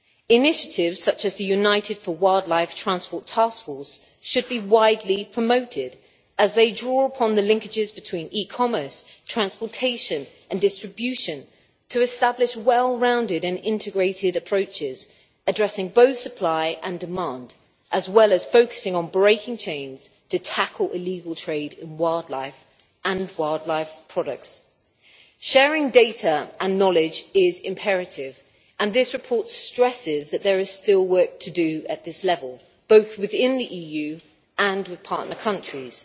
Initiatives such as the United for Wildlife Transport Taskforce should be widely promoted, as they draw upon the linkages between e commerce, transportation and distribution to establish well rounded and integrated approaches addressing both supply and demand, as well as focusing on breaking chains to tackle illegal trade in wildlife and wildlife products. Sharing data and knowledge is imperative and this report stresses that there is still work to do at this level, both within the EU and with partner countries.